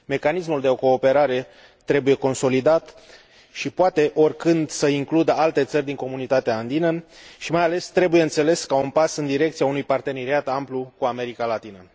Mecanismul de cooperare trebuie consolidat și poate oricând să includă alte țări din Comunitatea Andină, și, mai ales, trebuie înțeles ca un pas în direcția unui parteneriat amplu cu America Latină.